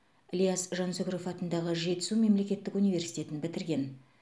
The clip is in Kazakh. ілияс жансүгіров атындағы жетісу мемлекеттік университетін бітірген